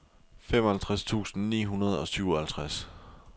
femoghalvtreds tusind ni hundrede og syvoghalvtreds